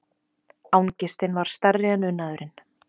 Angistin var stærri en unaðurinn.